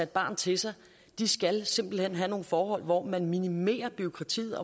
barn til sig skal simpelt hen have nogle forhold hvor man minimerer bureaukratiet